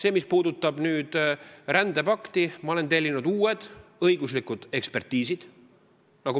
Ms puudutab rändepakti, siis ma olen tellinud uued õiguslikud ekspertiisid.